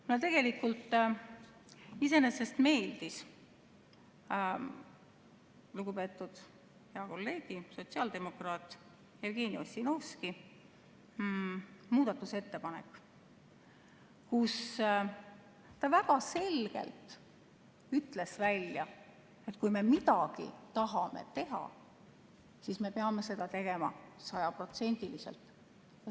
Mulle tegelikult iseenesest meeldis lugupeetud hea kolleegi, sotsiaaldemokraat Jevgeni Ossinovski muudatusettepanek, kes väga selgelt ütles välja, et kui me tahame midagi teha, siis me peame seda tegema sajaprotsendiliselt.